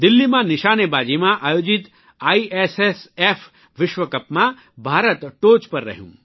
દિલ્હીમાં નિશાનેબાજીમાં આયોજીત આઇએસએસએફ વિશ્વકપમાં ભારત ટોચ પર રહ્યું